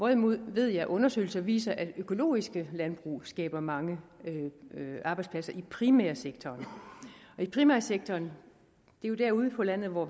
derimod ved jeg at undersøgelser viser at økologiske landbrug skaber mange arbejdspladser i primærsektoren primærsektoren er jo derude på landet hvor